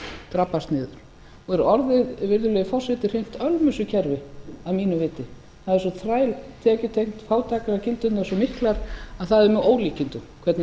drabbast niður og er orðið virðulegi forseti hreint ölmusukerfi að mínu viti það er svo þræltekjutengt fátæktargildrurnar svo miklar að það er með ólíkindum hvernig